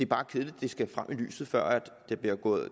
bare kedeligt det skal frem i lyset før der